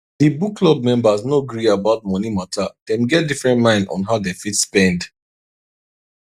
di book club members no gree about money mata dem get different mind on how dem fit spend